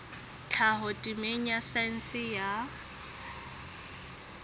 tlhaho temeng ya saense ya